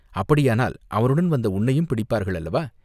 அப்படியானால் அவனுடன் வந்த உன்னையும் பிடிப்பார்கள் அல்லவா